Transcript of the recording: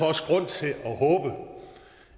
også grund til